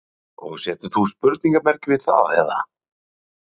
Bryndís: Og setur þú spurningamerki við það eða?